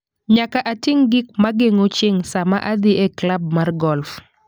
Nyaka atim gik ma geng'o chieng' sama adhi e klab mar golf